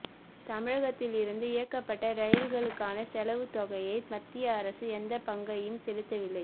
தமிழகத்திலிருந்து இயக்கப்பட்ட ரயில்களுக்கான செலவுத் தொகையில் மத்திய அரசு எந்தப் பங்கையும் செலுத்தவில்லை